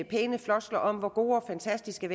pæne floskler om hvor gode og fantastiske